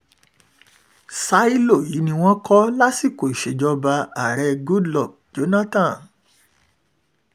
ṣílò yìí ni wọ́n kọ́ lásìkò ìṣèjọba ààrẹ goodluck jonathan